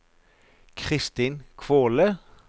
Kristin Kvåle